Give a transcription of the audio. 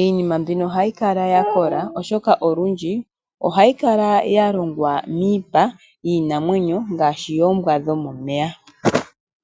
iinima mbika ohayi kala ya kola oshoka olundji ohayi kala ya longwa miipa yinamwenyo ngaashi yoombwa dhomomeya.